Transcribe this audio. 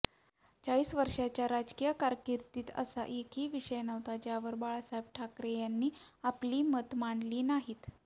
चाळीस वर्षांच्या राजकीय कारकिर्दीत असा एकही विषय नव्हता ज्यावर बाळासाहेब ठाकरेंनी आपली मतं मांडली नाहीत